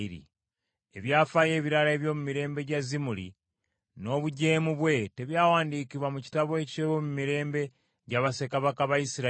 Eby’afaayo ebirala eby’omu mirembe gya Zimuli, n’obujeemu bwe, tebyawandiikibwa mu kitabo eky’ebyomumirembe gya bassekabaka ba Isirayiri?